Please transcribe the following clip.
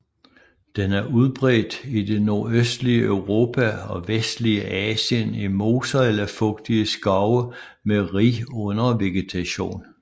Den er udbredt i det nordøstlige Europa og vestlige Asien i moser eller fugtige skove med rig undervegetation